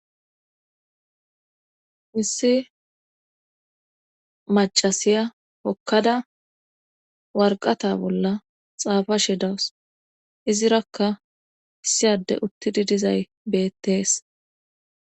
hissi macasiya hokkada warqata bolla xaafa she dawus izirakka issi adde uttidi dizay bettees